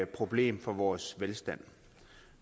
problem for vores velstand